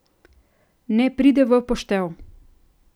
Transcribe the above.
Ne pride v poštev.